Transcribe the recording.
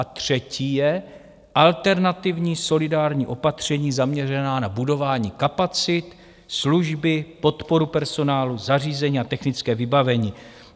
A třetí je alternativní solidární opatření zaměřené na budování kapacit, služby, podporu personálu, zařízení a technické vybavení.